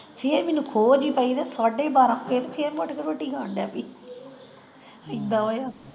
ਫਿਰ ਮੈਨੂੰ ਖੋ ਜੀ ਪਈ ਤੇ ਸਾਡੇ ਬਾਰਾਂ ਮੈਂ ਉੱਠ ਕੇ ਰੋਟੀ ਖਾਣ ਲੱਗ ਪਈ, ਏਦਾਂ ਹੋਇਆ।